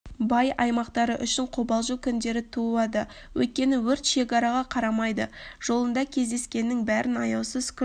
бай аймақтары үшін қобалжу күндері туады өйткені өрт шекараға қарамайды жолында кездескеннің бәрін аяусыз күл